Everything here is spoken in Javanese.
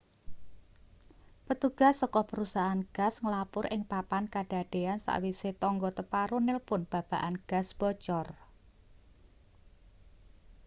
petugas saka perusahaan gas nglapur ing papan kadadean sakwise tangga teparo nilpun babagan gas bocor